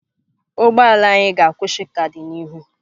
Ụgbọ ala anyị ga-akwụsị ka dị n'ihu.